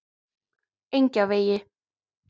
Engjavegi